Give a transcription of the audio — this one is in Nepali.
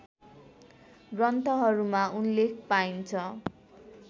ग्रन्थहरूमा उल्लेख पाइन्छ